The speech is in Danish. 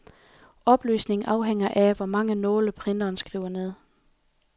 Opløsningen afhænger af, hvor mange nåle printeren skriver med.